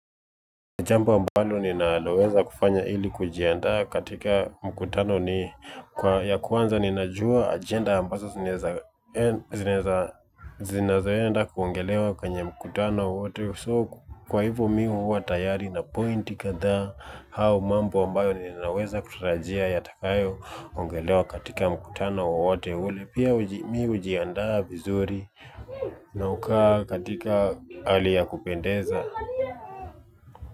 Jambo ambalo ninaloweza kufanya ili kujiandaa katika mkutano ni ya kwanza ninajua ajenda ambazo zinawezaenda kuongelewa kwenye mkutano wowote kwa hivo mimi huwa tayari na pointi kathaa hayo mambo ambayo ninaweza kutarajia yatakayoongelewa katika mkutano wowote ule pia mimi hujiandaa vizuri. Naukaa katika hali ya kupendeza kwa hivyo!